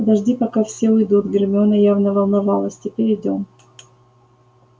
подожди пока все уйдут гермиона явно волновалась теперь идём